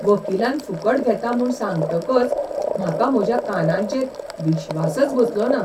वकिलान फुकट घेतां म्हूण सांगतकच म्हाका म्हज्या कानांचेर विश्वासच बसलोना.